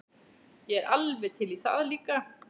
Ég er alveg til í það líka.